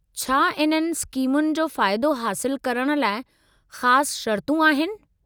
छा इन्हनि स्कीमुनि जो फ़ाइदो हासिलु करण लाइ ख़ास शर्तूं आहिनि?